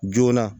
Joona